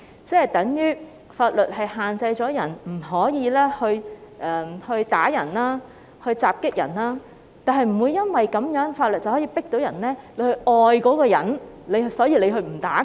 這等於法律限制了你不可以打人、襲擊人，但法律不能因此強迫你去愛那個人，故此不去打他。